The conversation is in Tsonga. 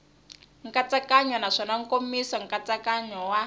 nkatsakanyo naswona nkomiso nkatsakanyo wa